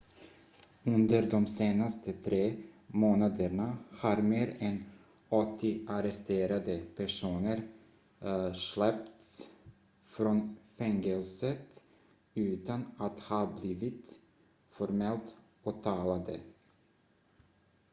under de senaste tre månaderna har mer än 80 arresterade personer släppts från fängelset utan att ha blivit formellt åtalade